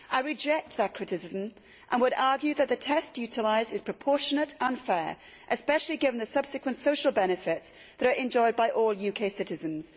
I reject that criticism and would argue that the test utilised is proportionate and fair, especially given the subsequent social benefits that are enjoyed by all UK citizens.